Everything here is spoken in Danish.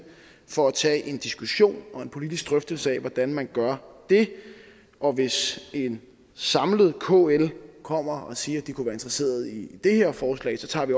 for at tage en diskussion og en politisk drøftelse af hvordan man gør det og hvis en samlet kl kommer og siger at de kunne være interesseret i det her forslag tager vi